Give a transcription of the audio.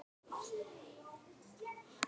Sunna: Hvernig þá?